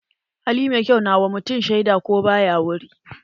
Hali mai kyau na wa mutum shaida ko ba ya wurin.